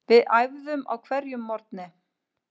Við æfðum á hverjum morgni.